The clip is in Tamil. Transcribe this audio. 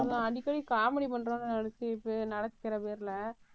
அடிக்கடி comedy பண்றோன்னு நினைச்சுட்டு நடக்கிற பேர்ல,